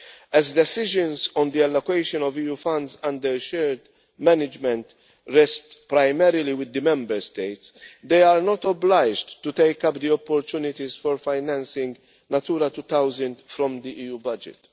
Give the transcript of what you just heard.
As decisions on the allocation of EU funds under shared management rest primarily with the Member States, they are not obliged to take up the opportunities for financing Natura 2000 from the EU budget.